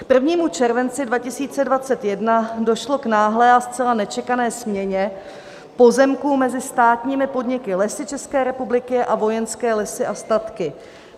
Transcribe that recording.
K 1. červenci 2021 došlo k náhlé a zcela nečekané směně pozemků mezi státními podniky Lesy České republiky a Vojenské lesy a statky.